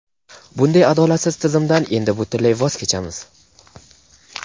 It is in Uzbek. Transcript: Bunday adolatsiz "tizim"dan endi butunlay voz kechamiz.